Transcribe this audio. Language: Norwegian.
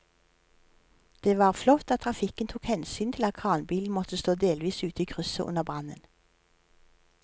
Det var flott at trafikken tok hensyn til at kranbilen måtte stå delvis ute i krysset under brannen.